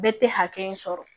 Bɛɛ tɛ hakɛ in sɔrɔ